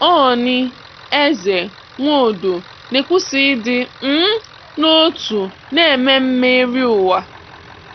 Ooni, Eze, Nwodo na-ekwusa ịdị um n'otu na Ememme eri ụwa